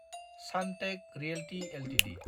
Sunteck Realty Ltd